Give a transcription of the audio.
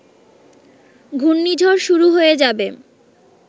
ঘুর্ণিঝড় শুরু হয়ে যাবে